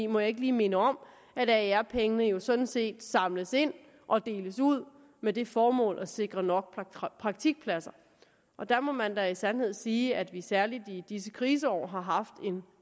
må jeg ikke lige minde om at aer pengene jo sådan set samles ind og deles ud med det formål at sikre nok praktikpladser og der må man da i sandhed sige at vi særlig i disse kriseår har haft en